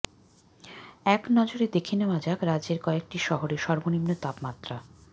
একনজরে দেখে নেওয়া যাক রাজ্যের কয়েকটি শহরের সর্বনিম্ন তাপমাত্রা